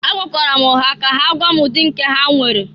Agwara m ha ka ha gwaa m ụdị nke ha nwere.